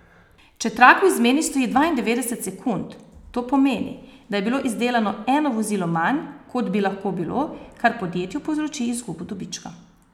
Če trak v izmeni stoji dvaindevetdeset sekund, to pomeni, da je bilo izdelano eno vozilo manj, kot bi lahko bilo, kar podjetju povzroči izgubo dobička.